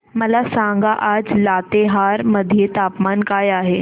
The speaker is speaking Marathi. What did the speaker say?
मला सांगा आज लातेहार मध्ये तापमान काय आहे